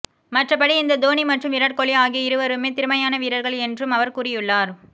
மற்றபடி இந்த தோனி மற்றும் விராட் கோலி ஆகிய இருவருமே திறமையான வீரர்கள் என்றும் அவர் கூறியுள்ளார்